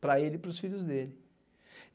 para ele e para os filhos dele.